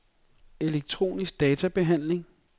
elektronisk databehandling